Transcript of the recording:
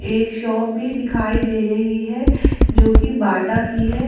एक शॉप भी दिखाई दे रही है जो कि बाटा की है।